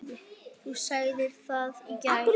Þú sagðir það í gær.